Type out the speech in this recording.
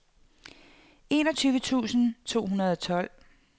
enogtyve tusind to hundrede og tolv